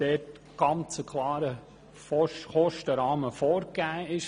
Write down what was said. Der Kostenrahmen wird klar vorgegeben.